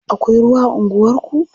Akwai ruwa a unguwarku?